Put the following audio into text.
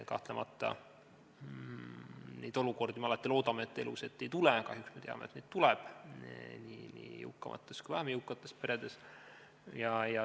Kahtlemata me alati loodame, et neid olukordi elus ette ei tule, aga kahjuks me teame, et tuleb, nii jõukamates kui ka vähem jõukamates peredes.